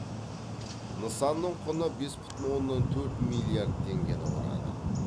нысанның құны бес бүтін оннан төрт миллиард теңгені құрады